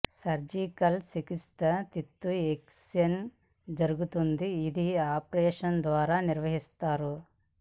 surgical చికిత్స తిత్తి excision జరుగుతుంది ఇది ఆపరేషన్ ద్వారా నిర్వహిస్తారు